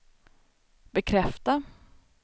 bekräfta